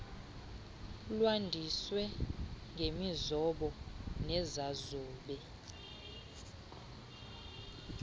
lwandiswe ngemizobo nezazobe